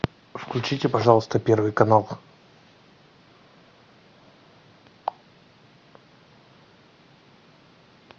включите пожалуйста первый канал